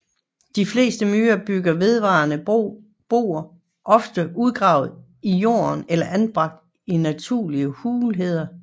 De fleste myrer bygger vedvarende boer ofte udgravet i jorden eller anbragt i naturlige hulheder